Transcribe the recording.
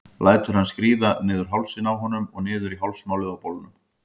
Lætur hann skríða niður hálsinn á honum og niður á hálsmálið á bolnum.